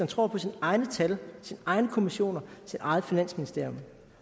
tror på sine egne tal sine egne kommissioner sit eget finansministerium